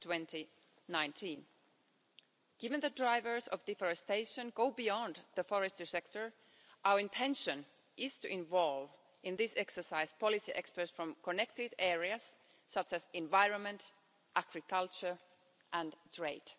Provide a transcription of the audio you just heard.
2019. Given that drivers of deforestation go beyond the forestry sector, our intention is to involve, in this exercise, policy experts from connected areas such as environment, agriculture and trade.